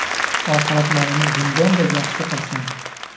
Oxiratlarini bundan-da yaxshi qilsin!